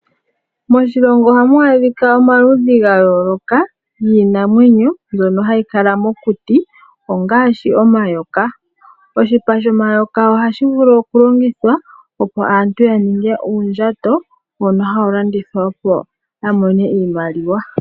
Moshilongo ohamu adhika omaludhi gaayoloka giinamwenyo, mbyono hayi kala mokuti, ngaashi omayoka. Oshipa shomayoka ohashi vulu okulongithwa, opo aantu ya ninge uundjato mbono hawu landithwa, opo aantu ya mone iimaliwa.